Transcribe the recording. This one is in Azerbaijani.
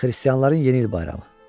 Xristianların yeni il bayramı.